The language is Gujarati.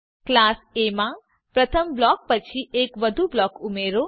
ક્લાસ એ માં પ્રથમ બ્લોક પછી એક વધુ બ્લોક ઉમેરો